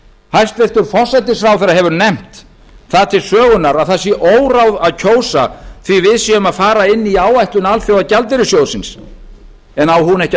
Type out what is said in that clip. hæstvirtur forsætisráðherra hefur nefnt það til sögunnar að það sé óráð að kjósa því við séum að fara inn í áætlun alþjóðagjaldeyrissjóðsins en á hún ekki að